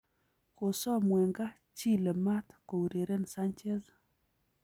Kosom Wenger Chile maat koureren Sanchez